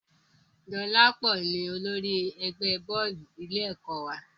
Dolapo ni olórí ẹgbẹ́ bọ́ọ̀lù ilé ẹ̀kọ́ wa